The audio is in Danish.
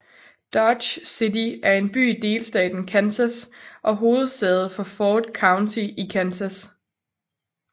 Dodge City er en by i delstaten Kansas og hovedsæde for Ford County i Kansas